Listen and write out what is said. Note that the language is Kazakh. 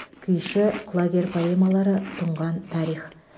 күйші құлагер поэмалары тұнған тарих